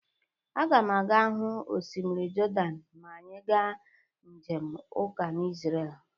Aga m aga-hu osimiri Jọdan ma anyị ga njem ụka n'zrel